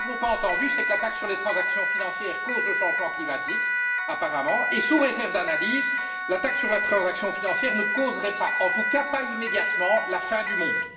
Ce que nous n'avons pas entendu, c'est que la taxe sur les transactions financières cause le changement climatique, apparemment, et, sous réserve d'analyse, la taxe sur les transactions financières ne causerait pas, en tout cas pas immédiatement, la fin du monde.